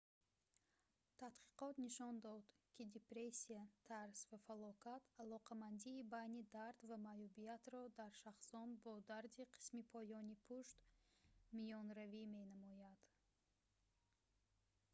тадқиқот нишон дод ки депрессия тарс ва фалокат алоқамандии байни дард ва маъюбиятро дар шахсон бо дарди қисми поёни пушт миёнаравӣ менамоянд